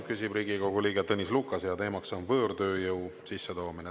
Küsib Riigikogu liige Tõnis Lukas ja teemaks on võõrtööjõu sisse toomine.